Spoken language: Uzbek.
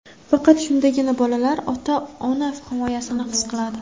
Faqat shundagina bolalar ota-ona himoyasini his qiladi.